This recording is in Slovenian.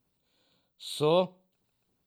So!